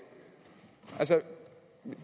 altså